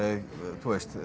þú veist